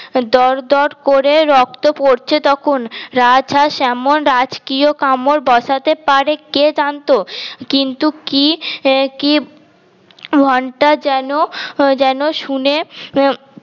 দর দর করে রক্ত পড়ছে তখন রাজ হাস এমন রাজকীয় কামড় বসাতে পারে কে জানত কিন্তু কি কি ঘন্টা যেন যেন শুনে আহ